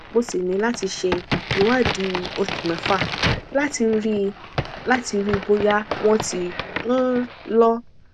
mo ṣì ní láti ṣe ìwádìí oṣù mẹfà láti rí i láti rí i bóyá wọn ti um lọ